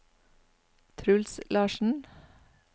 Truls Larsen